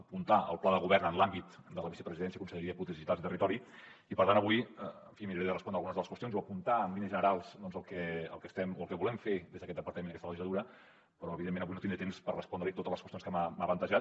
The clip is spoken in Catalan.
apuntar el pla de govern en l’àmbit de la vicepresidència i de la conselleria de polítiques digitals i territori i per tant avui miraré de respondre algunes de les qüestions o apuntar en línies generals el que estem o el que volem fer des d’aquest departament en aquesta legislatura però evidentment avui no tindré temps per respondre li totes les qüestions que m’ha plantejat